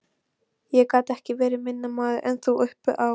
Ég gat ekki verið minni maður en þú uppi á